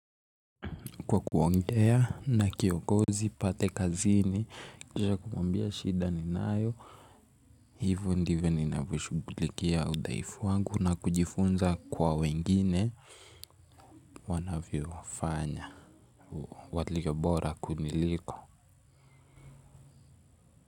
Kwa kuongea na kiongozi, pale kazini, na kumwambia shida ninayo, hivyo ndivyo ninavyo shughulikia udhaifu wangu na kujifunza kwa wengine wanavyo fanya. Walio bora kuniliko.